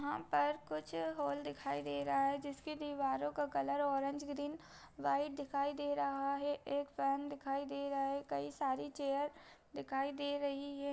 यहाँ पर कुछ हॉल दिखाई दे रहा है जिसकी दीवारों का कलर औरेंज ग्रीन वाईट दिखाई दे रहा है एक फैन दिखाई दे रहा है कई सारी चेयर दिखाई दे रही है।